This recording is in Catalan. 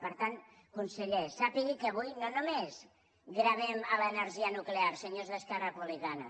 per tant conseller sàpiga que avui no només gravem l’energia nuclear senyors d’esquerra republicana